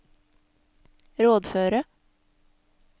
rådføre